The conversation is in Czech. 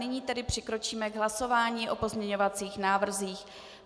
Nyní tedy přikročíme k hlasování o pozměňovacích návrzích.